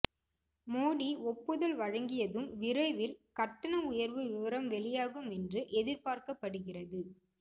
மோடி ஒப்புதல் வழங்கியதும் விரைவில் கட்டண உயர்வு விவரம் வெளியாகும் என்று எதிர்பார்க்கப்படுகிறது